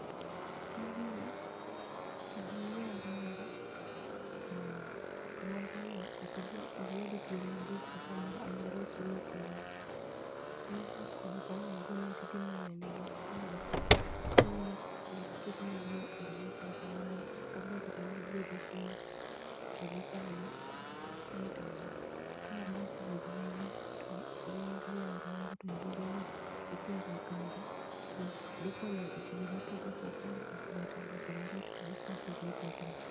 Tijni sama inyiew rombo to rombo no okidwa dhi tweye mabor kata samoro aluora chiemo tinie, iwuok kod opanga gi gunia tidhi manyo negi osiaga titongo matindo tindo tiketo negi e gima chal kamae kata inya keto negi e besen to gichamo. Aito ka mbos oyugno ahinya to ilielo rombo to yiergi no itero e kambi, dhi konyo e tije mopogre opogore kaka loso sweta, loso onget gi gik mopogoe opogore